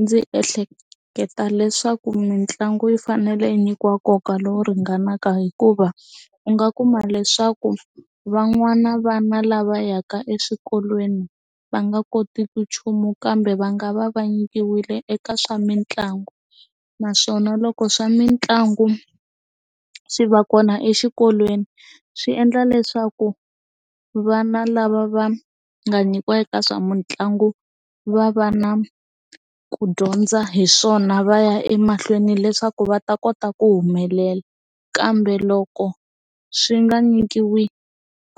Ndzi ehleketa leswaku mitlangu yi fanele yi nyikiwa nkoka lowu ringanaka hikuva u nga kuma leswaku van'wana vana lava yaka eswikolweni va nga kotiki nchumu kambe va nga va va nyikiwile eka swa mitlangu naswona loko swa mitlangu swi va kona exikolweni swi endla leswaku vana lava va nga nyikiwa eka swa mitlangu va va na ku dyondza hi swona va ya emahlweni leswaku va ta kota ku humelela kambe loko swi nga nyikiwi